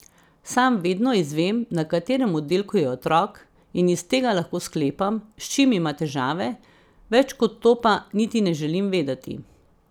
Sam vedno izvem, na katerem oddelku je otrok, in iz tega lahko sklepam, s čim ima težave, več kot to pa niti ne želim vedeti.